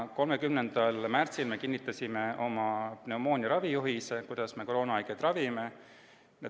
30. märtsil kinnitasime oma pneumoonia ravi juhise, mille järgi me koroonahaigeid ravime.